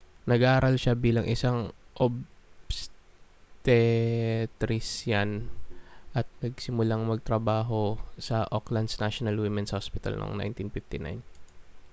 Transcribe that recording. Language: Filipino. nag-aral siya bilang isang obstetrisyan at nagsimulang magtrabaho sa auckland's national women's hospital noong 1959